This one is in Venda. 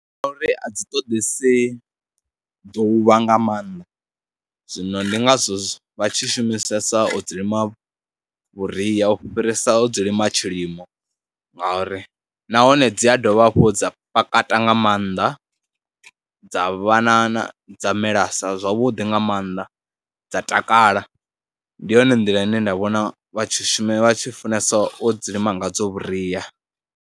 A dzi ṱoḓese ḓuvha nga maanḓa, zwino ndi ngazwo vha tshi shumisesa o dzi lima vhuria, u fhirisa ho dzi lima tshilimo ngauri nahone dzi a dovha hafhu dza pakata nga maanḓa dza vha na na, dza melesa zwavhuḓi nga maanḓa dza takala. Ndi yone nḓila ine nda vhona vha tshi shuma, vha tshi funesa u dzi lima ngadzo vhuria.